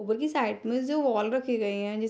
उधर की साइड में जो वाॅल रखी गई हैं जिस --